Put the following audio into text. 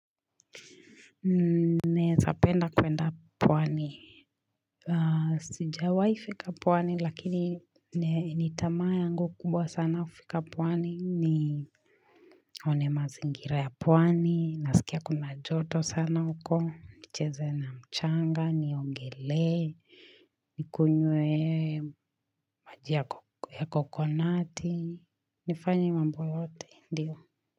Naezapenda kwenda pwani Sijawai fika pwani lakini nitamaa yangu kubwa sana kufika pwani ni Onemazingira ya pwani naskia kuna joto sana huko nicheze na mchanga niongelee nikunywe maji ya coconuti nifanye mambo yote ndiyo.